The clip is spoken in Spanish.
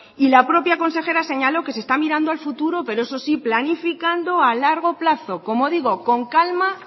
y la propia consejera señaló que se está mirando al futuro pero eso sí planificando a largo plazo como digo con calma